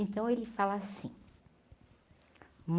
Então ele fala assim.